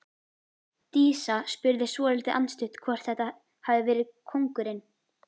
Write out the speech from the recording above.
Dísa spurði svolítið andstutt hvort þetta hefði verið kóngurinn.